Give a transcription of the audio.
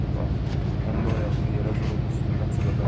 Bax, onda ayağımı yerə vurub üstünə çığırdım.